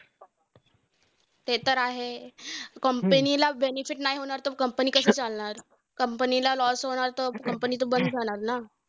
ते तर आहे! company ला benefit नाही होणार तर company कशी चालणार? company बंद जाणार ना.